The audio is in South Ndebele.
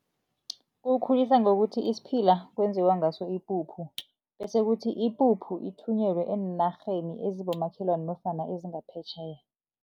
Kuwukhulisa ngokuthi isiphila kwenziwa ngaso ipuphu bese kuthi ipuphu ithunyelwe eenarheni ezibomakhelwana nofana ezingaphetjheya.